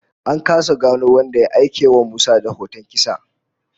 An kasa gano wanda ya aikewa Musa da hoton kisa